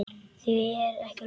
Því er ekki lokið.